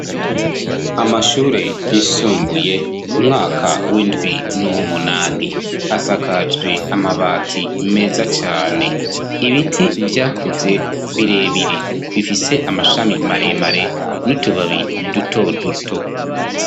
Amashure yisumbuye ,umwaka w'indwi n'uwumunani, asakajwe amabati meza cane. Ibiti vyakuze birebire, bifise amashami maremare n'utubabi duto duto.